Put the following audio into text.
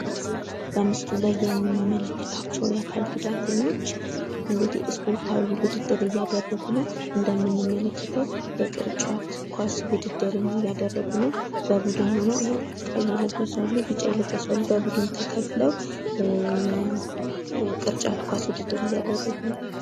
እነዚህ በምስሉ ላይ የምንመልከታቸው የአካል ጉዳተኞች እንግዲህ ስፖርታዊ ውድድር እያደረጉ ነው። እንደምንመለክተው የቅርጫት ኳስ ውድድርን እያደረጉ ነው በቡድን ሁነው። ቀይ የለበሱ አሉ። ቢጫ የልበሱ አሉ። በቡድን ተከፍለው የቅርጫት ኳስ ውድድርን እያደረጉ ነው።